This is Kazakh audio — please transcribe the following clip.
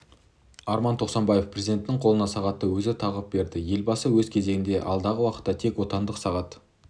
арман тоқсанбаев президенттің қолына сағатты өзі тағып берді елбасы өз кезегінде алдағы уақытта тек отандық сағат